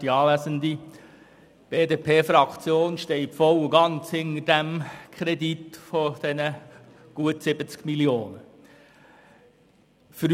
Die BDP-Fraktion steht voll und ganz hinter diesem Kredit von gut 70 Mio. Franken.